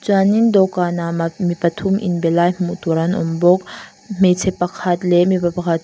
chuanin dawhkanah ma mi pathum inbe lai hmuh tur an awm bawk hmeichhe pakhat leh mipa pakhat --